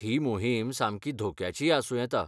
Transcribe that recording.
ही मोहीम सामकी धोक्याचीय आसूं येता.